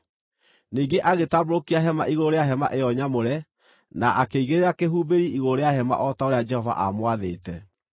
Ningĩ agĩtambũrũkia hema igũrũ rĩa hema ĩyo nyamũre na akĩigĩrĩra kĩhumbĩri igũrũ rĩa hema o ta ũrĩa Jehova aamwathĩte.